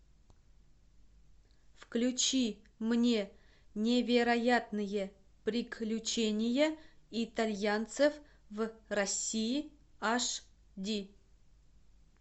включи мне невероятные приключения итальянцев в россии аш ди